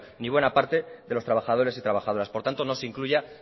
ni buena parte de los trabajadores y trabajadoras por tanto no se incluya